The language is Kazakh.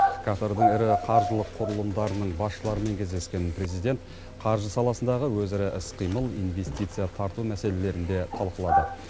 катардың ірі қаржылық құрылымдарының басшыларымен кездескен президент қаржы саласындағы өзара іс қимыл инвестиция тарту мәселелерін де талқылады